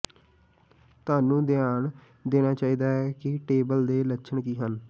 ਤੁਹਾਨੂੰ ਧਿਆਨ ਦੇਣਾ ਚਾਹੀਦਾ ਹੈ ਕਿ ਟੇਬਲ ਦੇ ਲੱਛਣ ਕੀ ਹਨ